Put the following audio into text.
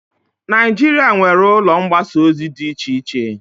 Najịrịa nwere ụlọ mgbasa ozi di iche iche